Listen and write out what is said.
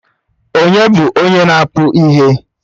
Ònye bụ onye na-akpụ ihe?